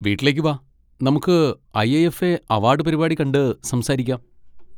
വീട്ടിലേക്ക് വാ, നമുക്ക് I. I. F. A award പരിപാടി കണ്ട് സംസാരിക്കാം.